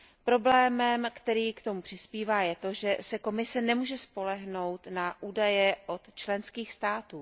Problémem, který k tomu přispívá, je to, že se Komise nemůže spolehnout na údaje od členských států.